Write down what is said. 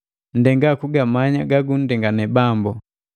Nndenga kugamanya gala gagunndengani Bambu.